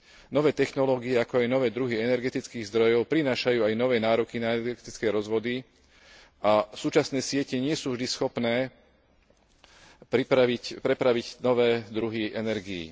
Nové technológie, ako i nové druhy energetických zdrojov prinášajú aj nové nároky na energetické rozvody a súčasné siete nie sú vždy schopné prepraviť nové druhy energií.